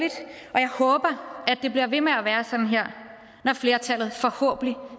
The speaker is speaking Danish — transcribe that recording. og jeg håber at det bliver ved med at være sådan her når flertallet forhåbentlig